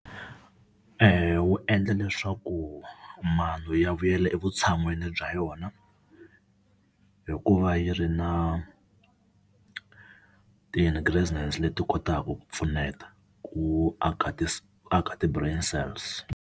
Eya wu endla leswaku mano ya vuyela evutshan'wini bya yona hikuva yi ri na ti-ingredients leti kotaka ku pfuneta ku aka ti aka ti brain cells.